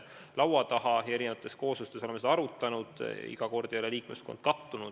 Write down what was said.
Oleme seda arutanud erinevates kooslustes, iga kord ei ole liikmeskond kattunud.